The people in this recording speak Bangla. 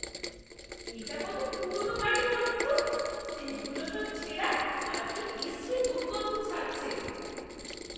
এটা কত পুরনো গাড়ি বলুন তো! সীটগুলো সব ছেঁড়া আর কী বিশ্রী দুর্গন্ধ ছাড়ছে!